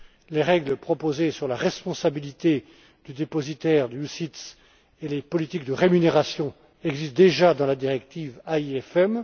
Les règles proposées sur la responsabilité du dépositaire d'OPCVM et les politiques de rémunération existent déjà dans la directive AIFM.